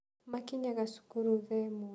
Makinyaga cukuru thaa ĩmwe.